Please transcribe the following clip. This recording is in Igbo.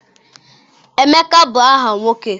Emeka bụ aha nwoke.